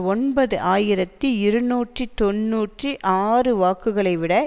ஒன்பது ஆயிரத்தி இருநூற்றி தொன்னூற்றி ஆறு வாக்குகளை விட